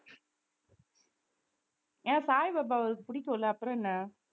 ஏன் சாய்பாபாவை அவருக்கு பிடிக்கும் இல்லை அப்புறம் என்ன